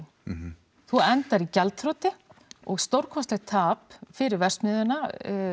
þú endar í gjaldþroti og stórkostlegt tap fyrir verksmiðjuna